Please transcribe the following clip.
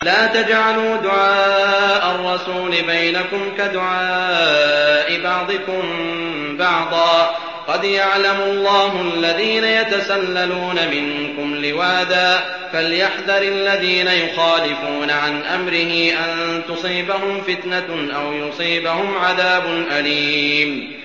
لَّا تَجْعَلُوا دُعَاءَ الرَّسُولِ بَيْنَكُمْ كَدُعَاءِ بَعْضِكُم بَعْضًا ۚ قَدْ يَعْلَمُ اللَّهُ الَّذِينَ يَتَسَلَّلُونَ مِنكُمْ لِوَاذًا ۚ فَلْيَحْذَرِ الَّذِينَ يُخَالِفُونَ عَنْ أَمْرِهِ أَن تُصِيبَهُمْ فِتْنَةٌ أَوْ يُصِيبَهُمْ عَذَابٌ أَلِيمٌ